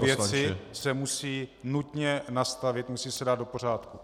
Tyto věci se musí nutně nastavit, musí se dát do pořádku.